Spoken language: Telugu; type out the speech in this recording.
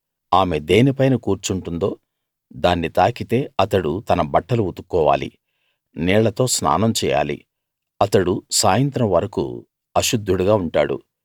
ఆమె దేనిపైన కూర్చుంటుందో దాన్ని తాకితే అతడు తన బట్టలు ఉతుక్కోవాలి నీళ్ళతో స్నానం చేయాలి అతడు సాయంత్రం వరకూ అశుద్ధుడుగా ఉంటాడు